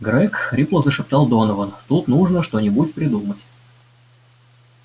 грег хрипло зашептал донован тут нужно что-нибудь придумать